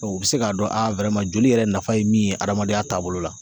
Ɔ u be se k'a dɔn a wɛrman joli yɛrɛ nafa ye min ye adamadenya taabolo la